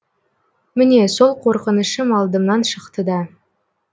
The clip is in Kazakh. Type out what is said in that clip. міне сол қорқынышым алдымнан шықты да